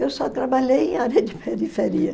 Eu só trabalhei em área de periferia.